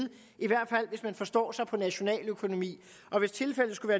i hvert fald hvis man forstår sig på nationaløkonomi og hvis tilfældet skulle